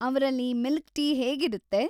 ಅವ್ರಲ್ಲಿ milk tea ಹೇಗಿರುತ್ತೆ?